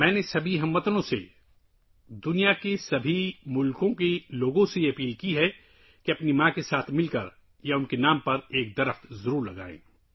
میں نے تمام اہل وطن، دنیا کے تمام ممالک کے لوگوں سے اپیل کی ہے کہ وہ اپنی ماں کے ساتھ یا ان کے نام پر ایک درخت لگائیں